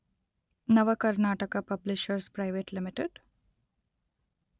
Navakarnataka publishers private limited.